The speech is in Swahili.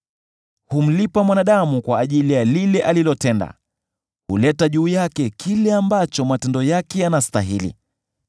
Humlipa mwanadamu kwa ajili ya lile alilotenda; huleta juu yake kile ambacho matendo yake yanastahili.